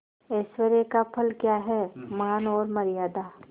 ऐश्वर्य का फल क्या हैमान और मर्यादा